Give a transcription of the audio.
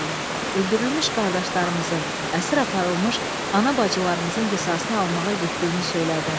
Öldürülmüş qardaşlarımızın, əsir aparılmış ana-bacılarımızın qisasını almağa getdiyini söylədin.